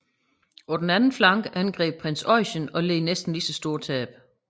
På den anden flanke angreb prins Eugen og ned næsten lige så store tab